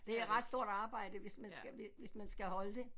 Det er et ret stort arbejde hvis man skal hvis man skal holde det